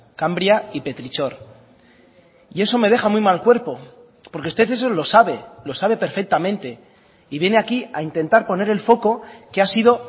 cambria y petrichor y eso me deja muy mal cuerpo porque usted eso lo sabe lo sabe perfectamente y viene aquí a intentar poner el foco que ha sido